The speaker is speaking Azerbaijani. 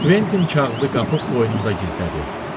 Kventin kağızı qapıb qoynunda gizlədi.